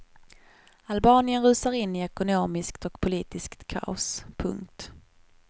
Albanien rusar in i ekonomiskt och politiskt kaos. punkt